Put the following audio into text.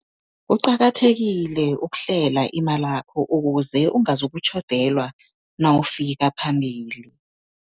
Kuqakathekile ukuhlela imalakho, ukuze ungazokutjhodelwa nawufika phambili.